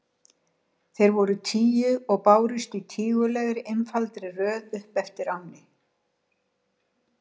Þeir voru tíu og bárust í tígulegri, einfaldri röð upp eftir ánni.